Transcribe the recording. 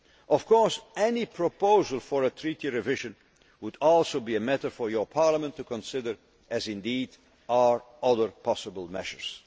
Juncker. Of course, any proposal for a treaty revision would also be a matter for your Parliament to consider, as indeed are other possible